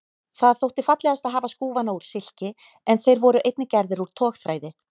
Það þótti fallegast að hafa skúfana úr silki en þeir voru einnig gerðir úr togþræði.